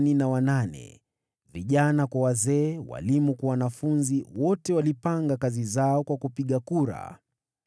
Vijana kwa wazee, walimu kwa wanafunzi, wote walipanga kazi zao kwa kupiga kura.